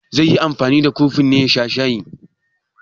Zai yi anfani da kofin ne ya sha shayi?